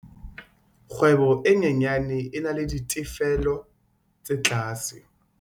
kgwebo e nyenyane e na le ditefello tse tlase.